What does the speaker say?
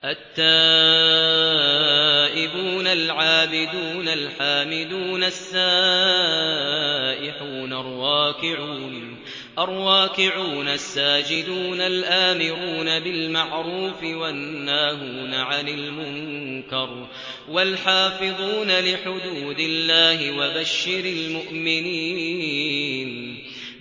التَّائِبُونَ الْعَابِدُونَ الْحَامِدُونَ السَّائِحُونَ الرَّاكِعُونَ السَّاجِدُونَ الْآمِرُونَ بِالْمَعْرُوفِ وَالنَّاهُونَ عَنِ الْمُنكَرِ وَالْحَافِظُونَ لِحُدُودِ اللَّهِ ۗ وَبَشِّرِ الْمُؤْمِنِينَ